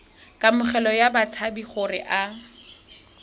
kamogelo ya batshabi gore a